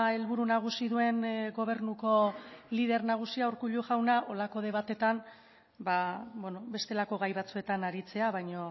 helburu nagusi duen gobernuko lider nagusia urkullu jauna horrelako debateetan bestelako gai batzuetan aritzea baino